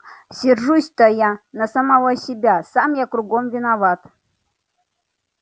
сержусь-то я на самого себя сам я кругом виноват